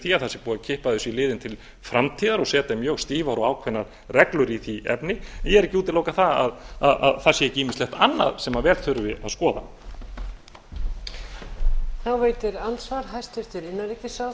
því að það sé búið að kippa þessu í liðinn til framtíðar og setja mjög stífar og ákveðnar reglur í því efni ég er ekki að útiloka það að það sé ekki ýmislegt annað sem vel þurfi að skoða